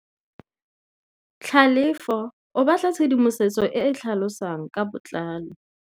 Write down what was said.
Tlhalefô o batla tshedimosetsô e e tlhalosang ka botlalô.